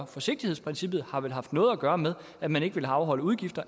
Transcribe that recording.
forsigtighedsprincippet har vel haft noget at gøre med at man ikke ville afholde udgifter